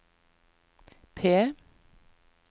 P